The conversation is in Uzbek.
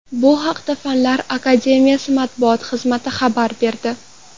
Bu haqda Fanlar akademiyasi matbuot xizmati xabar berdi .